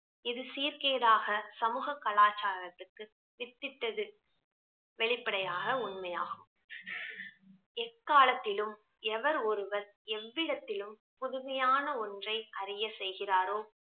இது சீர்கேடாக சமூக கலாச்சாரத்துக்கு வித்திட்டது வெளிப்படையாக உண்மையாகும் எக்காலத்திலும் எவர் ஒருவர் எவ்விடத்திலும் புதுமையான ஒன்றை அறிய செய்கிறாரோ